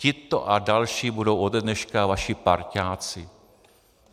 Tito a další budou ode dneška vaši parťáci.